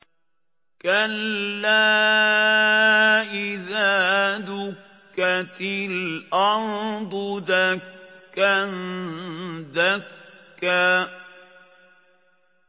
كَلَّا إِذَا دُكَّتِ الْأَرْضُ دَكًّا دَكًّا